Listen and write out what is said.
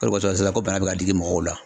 O de kɔsɔn sisan ko bana bɛ ka digi mɔgɔw la